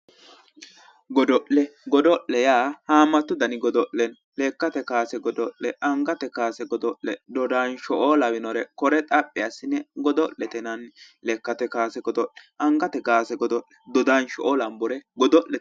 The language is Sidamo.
Godo'le godo'le haamatu dani godo'le no, lekkate kaase godo'le angate kaase godo'le dodansho"o lawinore kore xaphi assi'ne godo'lete yinanni lekkate kaase godo'le angate kaase godo'le dodansho lawere godo'lete.